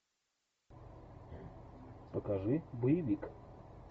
покажи боевик